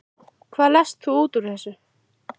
Hvað lest þú út úr þessu?